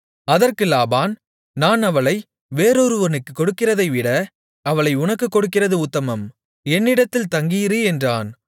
அதற்கு லாபான் நான் அவளை வேறொருவனுக்குக் கொடுக்கிறதைவிட அவளை உனக்குக் கொடுக்கிறது உத்தமம் என்னிடத்தில் தங்கியிரு என்றான்